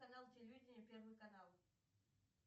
канал телевидения первый канал